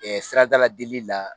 Ɛ siradala delili la